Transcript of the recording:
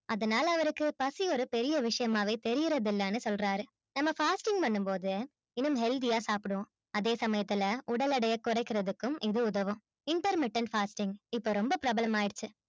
அதனால அவருக்கு பசி ஒரு பெரிய விஷயமாவே தெரிறதில்லன்னு சொல்றாரு. நம்ம fasting பண்ணும் போது இன்னும் healthy ஆ சாப்புடுவோம். அதே சமயத்துல உடல் எடைய குறைக்கிறதுக்கும் இது உதவும் intermittent fasting இப்போ ரொம்ப பிரபலம் ஆயிடுச்சு